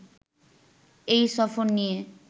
এই সফর নিয়ে